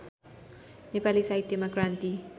नेपाली साहित्यमा क्रान्ति